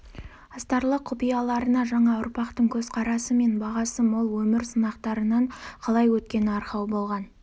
астарлы құпияларына жаңа ұрпақтың көзқарасы мен бағасы мол өмір сынақтарынан қалай өткені арқау болған